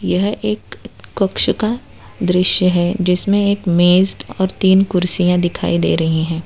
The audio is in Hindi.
यह एक क कक्षा का दृश्य है जिसमें एक मेज और तीन कुर्सियां दिखाई दे रही हैं।